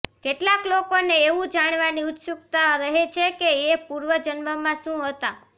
કેટલાક લોકોને એવું જાણવાની ઉત્સુક્તા રહે છે કે એ પૂર્વ જન્મમાં શું હતા